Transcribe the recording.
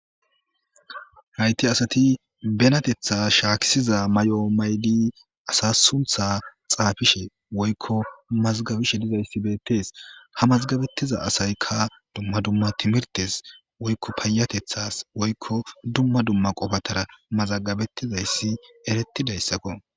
Hayisi asati benatetha shakisiza mayo mayidi asa suntha xaafishe woyikko mazigabishe dizayisi bettesi ha mazigabetiza asayikka dumma dumma timiritesi woyikko payatethasi woyikko dumma dumma qofatara mazagabetizayisi eretizayisakko